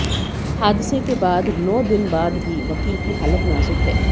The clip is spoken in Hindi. हादसे के बाद नौ दिन बाद भी वकील की हालत नाजुक है